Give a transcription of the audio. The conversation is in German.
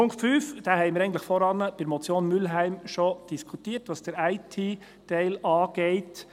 Punkt 5 haben wir vorhin bei der Motion Mühlheim bereits diskutiert, was den IT-Teil betrifft.